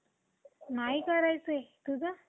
गुंतवणूक करण्याची संधी मिळते. भारतात सर्वात